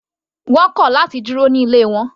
Wọ́n kọ̀ láti dúró ní ilé wọn.